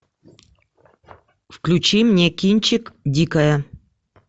включи мне кинчик дикая